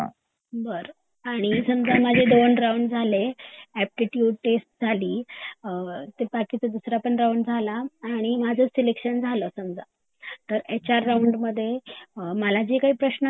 बरं समजा माझे दोन राऊंड झाले एप्टिट्यूड टेस्ट झाली ते बाकीचा दूसरा राऊंड पण झाला आणि माझ सेलेक्शन झाला एच आर राऊंड मध्ये समजा मला काही प्रश्न असतील